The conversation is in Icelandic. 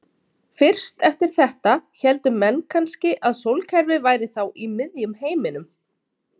Fyrst eftir þetta héldu menn kannski að sólkerfið væri þá í miðjum heiminum.